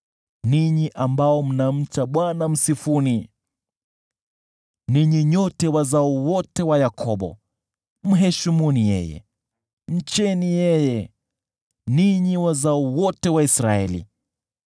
Ninyi ambao mnamcha Bwana , msifuni! Ninyi nyote wazao wote wa Yakobo, mheshimuni yeye! Mcheni yeye, ninyi wazao wote wa Israeli!